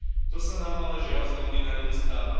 To sa nám ale, žiaľ, z Londýna nedostáva.